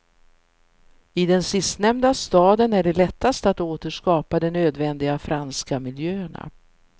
I den sistnämnda staden är det lättast att återskapa de nödvändiga franska miljöerna.